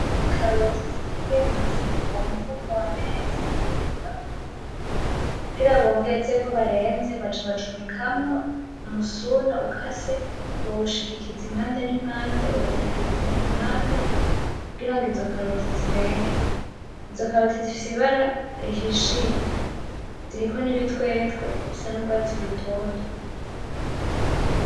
Ikaroti zitekeye mu mufuka wareze uruzura kugira bongezeko bareze baca bacomekamwo umusuna ukase, bawushigikiza impande n'impande bawutagiriza kumpande kugira izo karoti zirege, izo karoti zifise ibara rihishiye ziriko nibitwetwe bisa nurwatsi rutoto.